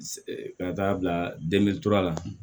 Ka taa bila la